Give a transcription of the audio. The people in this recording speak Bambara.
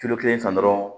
Kilo kelen san dɔrɔn